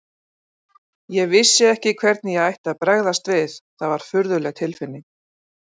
Ég vissi ekki hvernig ég ætti að bregðast við, það var furðuleg tilfinning.